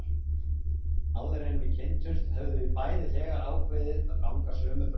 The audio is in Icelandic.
Áður en við kynntumst höfðum við bæði þegar ákveðið að ganga sömu braut.